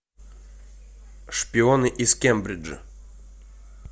шпионы из кембриджа